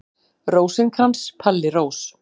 Rósinkrans, Palli Rós.